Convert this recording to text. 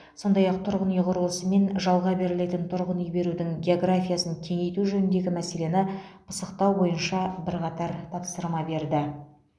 сондай ақ тұрғын үй құрылысы мен жалға берілетін тұрғын үй берудің географиясын кеңейту жөніндегі мәселені пысықтау бойынша бірқатар тапсырма берді